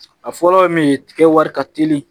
A fɔlɔ ye min ye tigɛ wari ka teli